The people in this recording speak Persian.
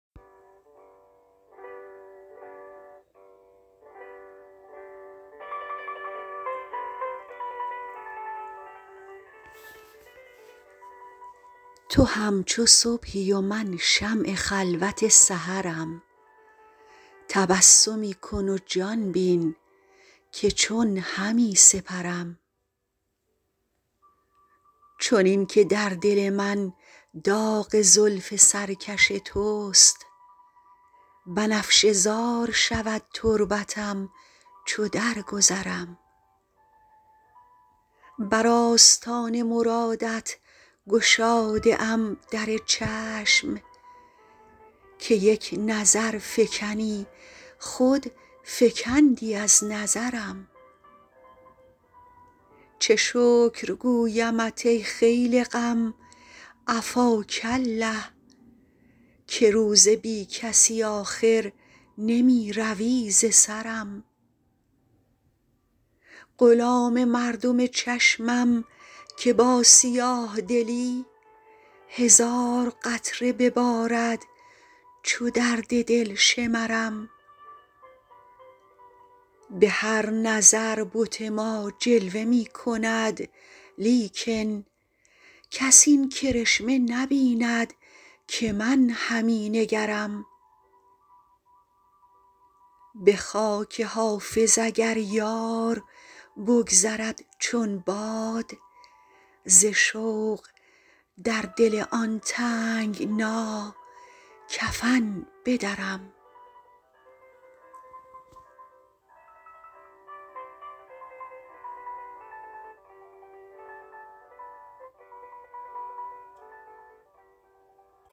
تو همچو صبحی و من شمع خلوت سحرم تبسمی کن و جان بین که چون همی سپرم چنین که در دل من داغ زلف سرکش توست بنفشه زار شود تربتم چو درگذرم بر آستان مرادت گشاده ام در چشم که یک نظر فکنی خود فکندی از نظرم چه شکر گویمت ای خیل غم عفاک الله که روز بی کسی آخر نمی روی ز سرم غلام مردم چشمم که با سیاه دلی هزار قطره ببارد چو درد دل شمرم به هر نظر بت ما جلوه می کند لیکن کس این کرشمه نبیند که من همی نگرم به خاک حافظ اگر یار بگذرد چون باد ز شوق در دل آن تنگنا کفن بدرم